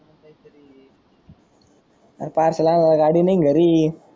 अरे चालायला गाडी नाही घरी.